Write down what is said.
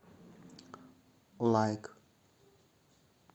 лайк